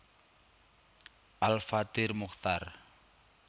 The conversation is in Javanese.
Al Fathir Muchtar